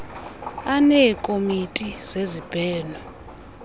aneekomiti zezib heno